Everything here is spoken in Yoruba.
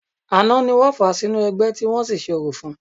Àná ni wọ́n fà á sínú ẹgbẹ́, tí wọ́n sì ṣe orò fún-un